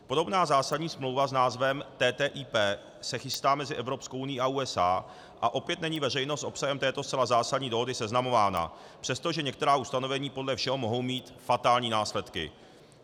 Podobná zásadní smlouva s názvem TTIP se chystá mezi Evropskou unií a USA a opět není veřejnost s obsahem této zcela zásadní dohody seznamována, přestože některá ustanovení podle všeho mohou mít fatální následky.